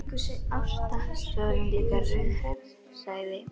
Ásta, svo er hún líka rauðhærð, sagði